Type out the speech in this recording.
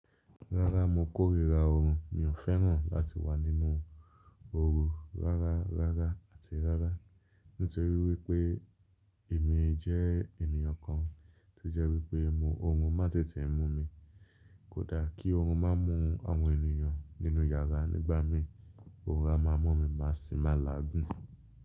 Rárá mo kórìíra oorun, mi ò fẹ́ràn láti wà nínú oorun rárá, rárá àti rárá nítorí wípé èmi jẹ́ ènìyàn kan tó jẹ́ wípé mo oorun má n tètè mú mi. Kódà kí oorun má mú àwọn ènìyàn nínú yàrá nígbà mí, oorun a má mú mi maàṣí má làágùn.